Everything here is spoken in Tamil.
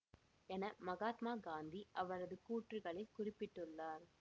என மகாத்மா காந்தி அவரது கூற்றுகளில் குறிப்பிட்டுள்ளார்